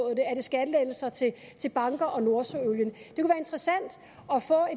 er det skattelettelser til banker og nordsøolien